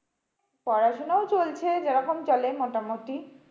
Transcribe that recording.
পড়াশোনাও চলছে যেরকম চলে মোটামুটি।